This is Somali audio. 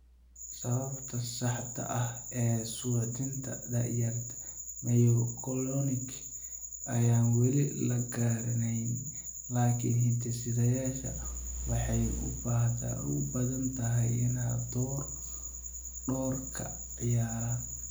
Sababta saxda ah ee suuxdinta da'yarta myoclonic ayaan weli la garanayn, laakiin hidde-sideyaasha waxay u badan tahay inay door ka ciyaaraan.